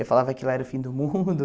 Eu falava que lá era o fim do mundo.